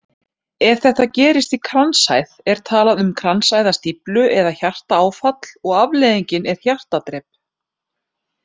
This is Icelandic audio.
Ef þetta gerist í kransæð er talað um kransæðastíflu eða hjartaáfall og afleiðingin er hjartadrep.